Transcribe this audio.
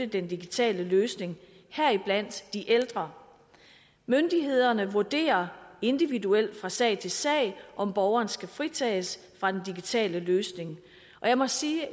den digitale løsning heriblandt de ældre myndighederne vurderer individuelt fra sag til sag om borgeren skal fritages fra den digitale løsning og jeg må sige at